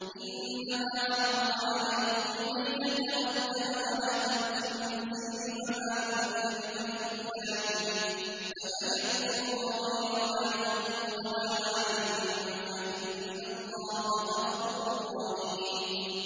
إِنَّمَا حَرَّمَ عَلَيْكُمُ الْمَيْتَةَ وَالدَّمَ وَلَحْمَ الْخِنزِيرِ وَمَا أُهِلَّ لِغَيْرِ اللَّهِ بِهِ ۖ فَمَنِ اضْطُرَّ غَيْرَ بَاغٍ وَلَا عَادٍ فَإِنَّ اللَّهَ غَفُورٌ رَّحِيمٌ